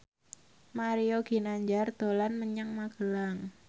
Mario Ginanjar dolan menyang Magelang